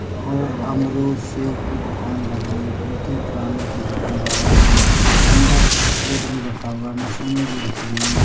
और ये गामरू सेव की दुकान लग रही है बीते किराने की दुकान लगी हुई है अंदर फ्रिज भी रखा हुआ है मशीने भी रखी हुई है।